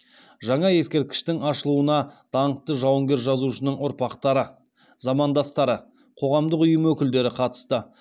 жаңа ескерткіштің ашылуына даңқты жауынгер жазушының ұрпақтары замандастары қоғамдық ұйым өкілдері қатысты